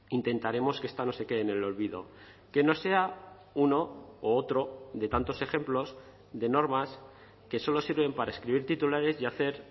intentaremos que esta no se quede en el olvido que no sea uno u otro de tantos ejemplos de normas que solo sirven para escribir titulares y hacer